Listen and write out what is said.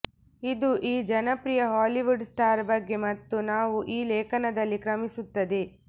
ಇದು ಈ ಜನಪ್ರಿಯ ಹಾಲಿವುಡ್ ಸ್ಟಾರ್ ಬಗ್ಗೆ ಮತ್ತು ನಾವು ಈ ಲೇಖನದಲ್ಲಿ ಕ್ರಮಿಸುತ್ತದೆ